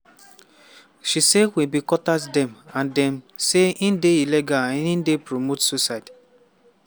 she say "we bin contact dem and tell dem say e dey illegal and e dey promote suicide.